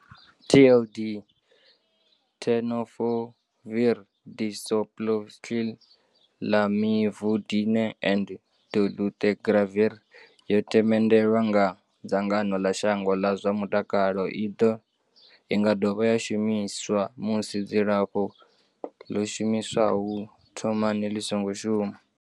TLD, Tenofovir disoproxil, Lamivudine and dolutegravir, yo themendelwa nga dzangano ḽa shango ḽa zwa mutakalo. I nga dovha ya shumiswa musi dzilafho ḽo shumiswaho u thomani ḽi songo shuma.